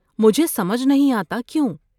مجھے سمجھ نہیں آتا کیوں؟